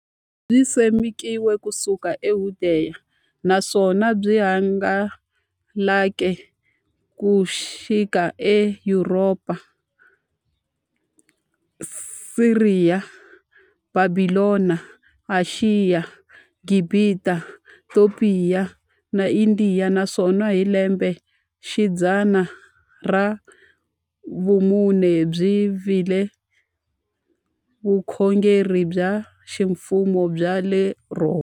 Byisimekiwe ku suka eYudeya, naswona byi hangalake ku xika eYuropa, Siriya, Bhabhilona, Ashiya, Gibhita, Topiya na Indiya, naswona hi lembexidzana ra vumune byi vile vukhongeri bya ximfumo bya le Rhoma.